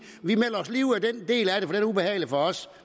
vi melder os lige ud af den del af det for den er ubehagelig for os